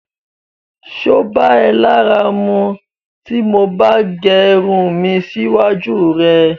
Ṣé o bá è lára mù tó mo bá gé irùn mi síwájú rẹ̀?